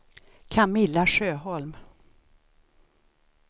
Camilla Sjöholm